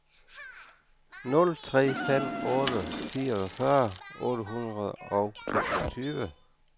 nul tre fem otte fireogfyrre otte hundrede og toogtyve